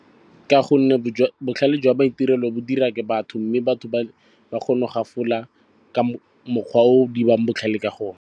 Ka gonne botlhale jwa maitirelo bo dira ke batho mme batho ba kgone go gafola ka mokgwa o diring botlhale ka gona.